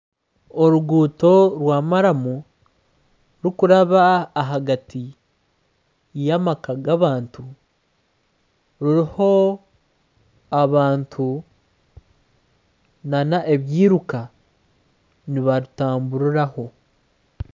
Oruguuto rwa maramu rukuraba ahagati y'amaka g'abantu, ruriho abantu n'ebiruka, nibarutamburiraho.